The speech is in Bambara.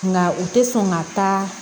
Nka u tɛ sɔn ka taa